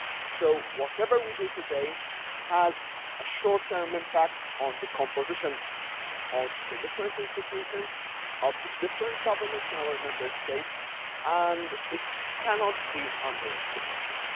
So whatever we do today has a short term impact on the composition of the different institutions and the different governments in our Member States, and it cannot be underestimated.